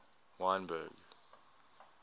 wynberg